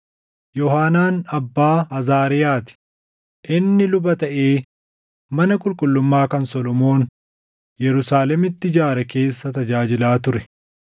Yoohaanaan abbaa Azaariyaa ti; inni luba taʼee mana qulqullummaa kan Solomoon Yerusaalemitti ijaare keessa tajaajilaa ture.